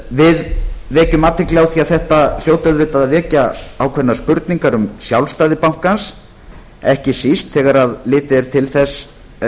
við gerum athygli á því að þetta hljóti auðvitað að vekja ákveðnar spurningar um sjálfstæði bankans ekki síst þegar litið er til þess